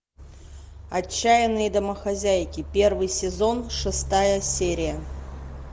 отчаянные домохозяйки первый сезон шестая серия